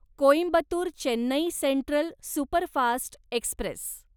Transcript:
Coimbatore Chennai central superfast Express